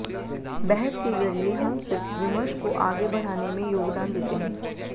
बहस के ज़रिये हम सिर्फ़ विमर्श को आगे बढ़ाने में योगदान देते हैं